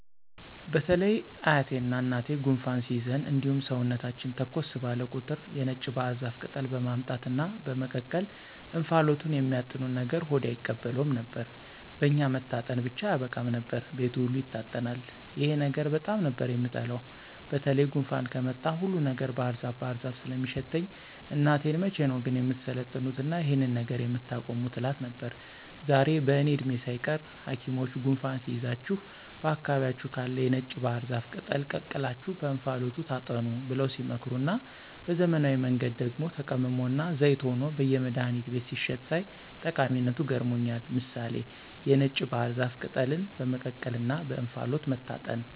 በተለይ አያቴና እናቴ ጉንፋን ሲይዘን እንዲሁም ሰውነታችን ተኮስ ባለ ቁጥር የነጭ ባህር ዛፍ ቅጠል በማምጣት እና በመቀቀል እንፋሎቱን የሚያጥኑን ነገር ሆዴ አይቀበለውም ነበር። በኛ መታጠን ብቻ አያበቃም ነበር፤ ቤቱ ሁሉ ይታጠናል። ይሄን ነገር በጣም ነበር የምጠላው በተለይ ጉንፋን ከመጣ ሁሉ ነገር ባህርዛፍ ባህር ዛፍ ስለሚሸተኝ እናቴን መቼ ነው ግን የምትሰለጥኑትና ይሄንን ነገር የምታቆሙት እላት ነበር። ዛሬ በእኔ እድሜ ሳይቀር ሀኪሞች ጉንፋን ሲይዛችሁ በአካባቢያችሁ ካለ የነጭ ባህር ዛፍ ቅጠል ቀቅላችሁ በእንፋሎቱ ታጠኑ ብለው ሲመክሩና በዘመናዊ መንገድ ደግሞ ተቀምሞና ዘይት ሆኖ በየመድሀኒት ቤቶች ሲሸጥ ሳይ ጠቀሚነቱ ገርሞኛል። ምሳሌ(የነጭ ባህር ዛፍ ቅጠልን በመቀቀልና በእንፋሎቱ መታጠን)